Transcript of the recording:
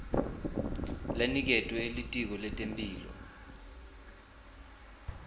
leniketwe litiko letemphilo